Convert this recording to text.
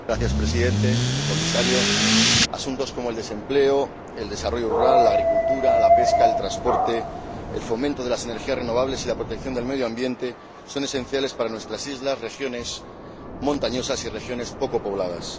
Señor Presidente, señor Comisario, asuntos como el desempleo, el desarrollo rural, la agricultura, la pesca, el transporte, el fomento de las energías renovables y la protección del medio ambiente son esenciales para nuestras islas, regiones montañosas y regiones poco pobladas.